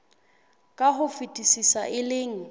ka ho fetisisa e leng